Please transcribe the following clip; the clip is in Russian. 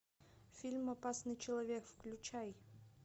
фильм опасный человек включай